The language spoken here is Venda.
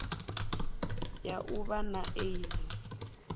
ya u vha na aids